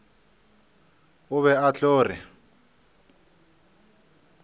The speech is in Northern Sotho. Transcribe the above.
o be a tlo re